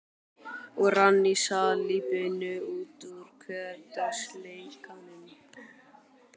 Og rann í salíbunu út úr hversdagsleikanum.